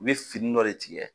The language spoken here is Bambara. I bɛ fini dɔ de tigɛ.